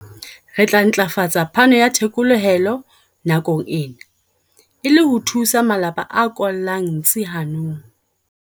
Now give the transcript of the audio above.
Re tla ntlafatsa phano ya thekolohelo nakong ena, e le ho thusa malapa a kollang ntsi hanong.